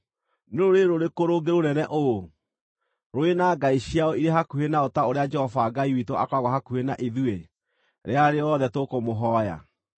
Nĩ rũrĩrĩ rũrĩkũ rũngĩ rũnene ũũ, rũrĩ na ngai ciao irĩ hakuhĩ nao ta ũrĩa Jehova Ngai witũ akoragwo hakuhĩ na ithuĩ rĩrĩa rĩothe tũkũmũhooya?